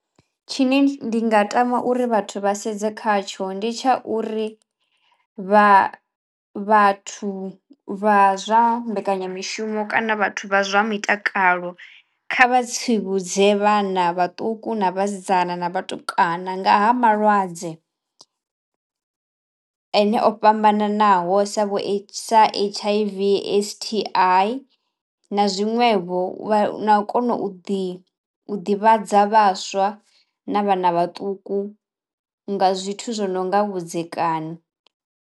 Tshine ndi nga tama uri vhathu vha sedze khatsho ndi tsha uri vha vhathu vha zwa mbekanyamishumo kana vhathu vha zwa mitakalo kha vha tsivhudze vhana vhaṱuku na vhasidzana na vhatukana nga ha malwadze ene o fhambananaho sa vho sa H_I_V S_T_I na zwiṅwevho na u kona u ḓi ḓivhadza vhaswa na vhana vhaṱuku nga zwithu zwo no nga vhudzekani.